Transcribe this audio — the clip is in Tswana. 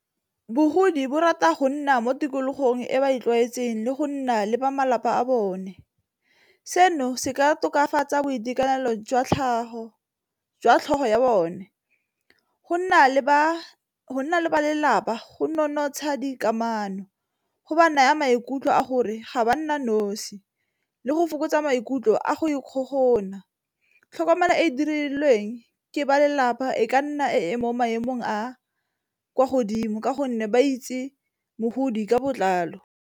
Bogodi bo rata go nna mo tikologong e ba e tlwaetseng le go nna le ba malapa a bone. Seno se ka tokafatsa boitekanelo jwa tlhogo ya bone go nna le ba lelapa go nonotsha dikamano go ba naya maikutlo a gore ga ba nna nosi le go fokotsa maikutlo a go ikgogomosa tlhokomelo e e dirilweng ke ba lelapa e ka nna e mo maemong a kwa godimo ka gonne ba itse mogodi ka botlalo.